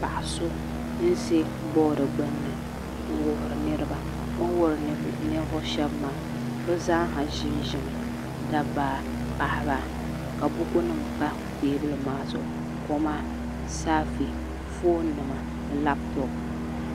Paɣa so n ʒɛ bood gbuni n wuhuri niraba o ni wuhuri ninvuɣu shab maa bi zaaha ʒinʒimi dabba paɣaba ka buku nim pa teebuli maa zuɣu koma saafɛ foon nima labtop